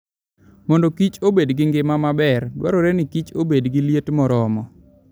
Mondo Kichobed gi ngima maber, dwarore ni Kichobed gi liet moromo.